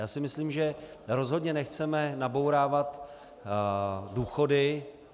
Já si myslím, že rozhodně nechceme nabourávat důchody.